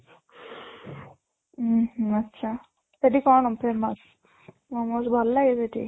ଉଁ ହୁଁ , ଆଚ୍ଛା ସେଠି କ'ଣ famous momos ଭଲ ଲାଗେ ସେଠି?